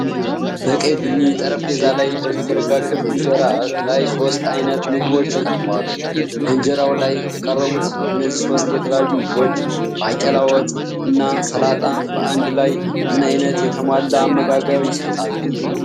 በቀይ-ቡኒ ጠረጴዛ ላይ በተዘረጋ ክብ እንጀራ ላይ ሶስት አይነት ምግቦች ቀርበዋል። በእንጀራው ላይ የቀረቡት እነዚህ ሦስት የተለያዩ ምግቦች (ባቄላ፣ ወጥ እና ሰላጣ) በአንድ ላይ ምን ዓይነት የተሟላ አመጋገብ ይሰጣሉ?